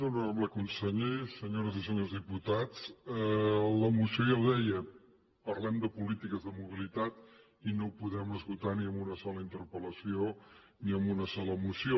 honorable conseller senyores i senyors diputats la moció ja ho deia parlem de polítiques de mobilitat i no ho podem esgotar ni amb una sola interpel·lació ni amb una sola moció